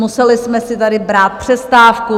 Museli jsme si tady brát přestávku.